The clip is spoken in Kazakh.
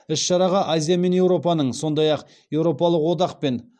іс шараға азия мен еуропаның сондай ақ еуропалық одақ пен